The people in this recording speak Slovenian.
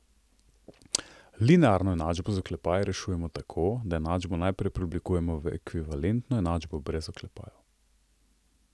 Linearno enačbo z oklepaji rešujemo tako, da enačbo najprej preoblikujemo v ekvivalentno enačbo brez oklepajev.